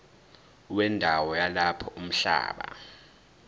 wendawo yalapho umhlaba